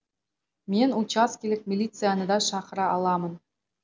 мен учаскелік милицияны да шақыра аламын